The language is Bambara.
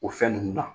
O fɛn nunnu na